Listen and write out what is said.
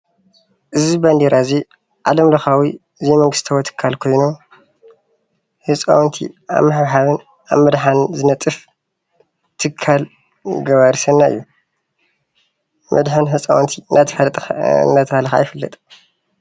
እዚ ባንዴራ እዙይ ዓለም ለኻዊ ዘይመንግስታዊ ትካል ኾይኑ፤ ህፃውንቲ ኣብ ምሕብሓብን ኣብ ምምሃርን ዝርከብ ገባሪ ሰናይ እዩ ።መድሐኒ ህፃውንቲ እናተብሃለ ይፍለጥ።